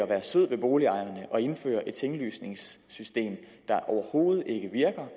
være sød ved boligejerne at indføre et tinglysningssystem der overhovedet ikke virker